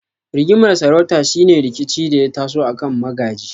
Rigimar sarauta shine rikici da ya taso akan magaji.